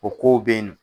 O kow be yen nɔ